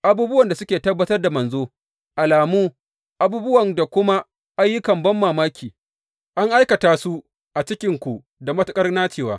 Abubuwan da suke tabbatar da manzo, alamu, abubuwa da kuma ayyukan banmamaki, an aikata su a cikinku da matuƙar nacewa.